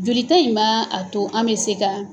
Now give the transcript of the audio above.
Jolita in ma a to an mɛ se ka